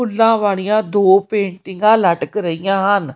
ਫੁੱਲਾਂ ਵਾਲੀਆਂ ਦੋ ਪੇਂਟਿੰਗਾਂ ਲਟ ਰਹੀਆਂ ਹਨ।